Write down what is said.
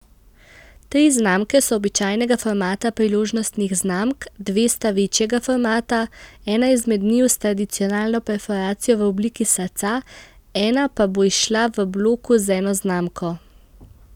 Tri znamke so običajnega formata priložnostnih znamk, dve sta večjega formata, ena izmed njiju s tradicionalno perforacijo v obliki srca, ena pa bo izšla v bloku z eno znamko.